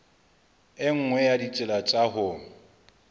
nngwe ya ditsela tsa ho